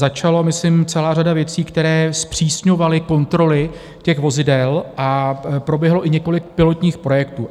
Začala myslím celá řada věcí, které zpřísňovaly kontroly těch vozidel a proběhlo i několik pilotních projektů.